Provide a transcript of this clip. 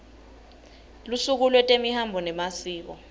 lusuku lwetemihambo nemasiko